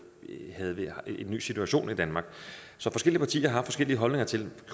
havde vi en ny situation i danmark så forskellige partier har haft forskellige holdninger til